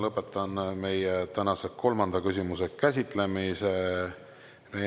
Lõpetan meie tänase kolmanda küsimuse käsitlemise.